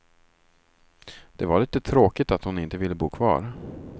Det var lite tråkigt att hon inte ville bo kvar.